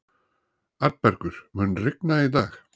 Arnbergur, mun rigna í dag?